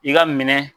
I ka minɛ